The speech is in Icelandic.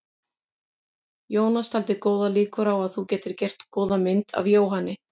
Jónas taldi góðar líkur á að þú gætir gert góða mynd af Jóhanni.